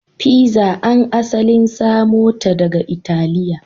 Pizza an asalin samo ta daga Italiya.